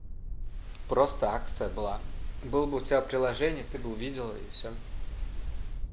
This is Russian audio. просто акция была был бы у тебя приложение ты бы увидала и всё